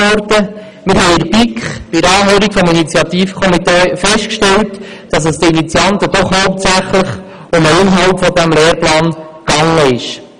Wir haben in der BiK bei der Anhörung des Initiativkomitees festgestellt, dass es den Initianten doch hauptsächlich um den Inhalt dieses Lehrplans ging.